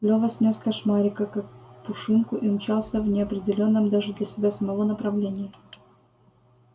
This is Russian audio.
лёва снёс кошмарика как пушинку и умчался в неопределённом даже для себя самого направлении